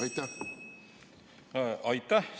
Aitäh!